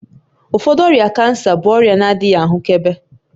Ụfọdụ ọrịa cancer bụ ọrịa na-adịghị ahụkebe